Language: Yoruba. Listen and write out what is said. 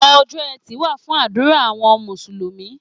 Ọjọ́ Ẹtì wà fún àdúrà àwọn Mùsùlùmí.